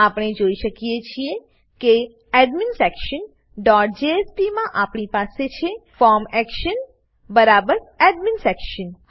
આપણે જોઈ શકીએ છીએ કે એડમિન્સેક્શન ડોટ જેએસપી માં આપણી પાસે છે ફોર્મ એક્શન બરાબર એડમિન્સેક્શન